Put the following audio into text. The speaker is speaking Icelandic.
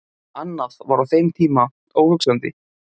Annað var á þeim tíma óhugsandi.